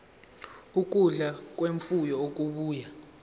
ukudla kwemfuyo okubuya